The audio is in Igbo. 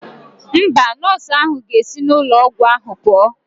Mba, nọọsụ ahụ ga-esi n'ụlọ ọgwụ ahụ pụọ.